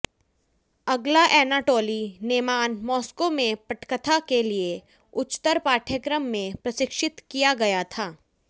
अगला Anatoly Naiman Moscow में पटकथा के लिए उच्चतर पाठ्यक्रम में प्रशिक्षित किया गया था